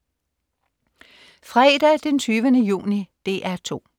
Fredag den 20. juni - DR 2: